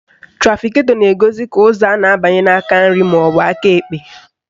Trafiketọ na-egosi ka ụzọ a na-abanye n'aka nri maọbụ aka ekpe